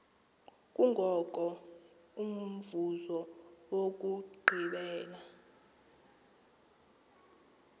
kungoko umvuzo wokugqibela